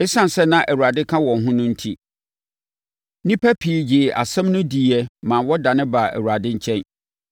Esiane sɛ na Awurade ka wɔn ho no enti, nnipa pii gyee asɛm no diiɛ maa wɔdane baa Awurade nkyɛn.